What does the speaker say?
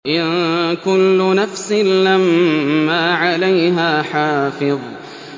إِن كُلُّ نَفْسٍ لَّمَّا عَلَيْهَا حَافِظٌ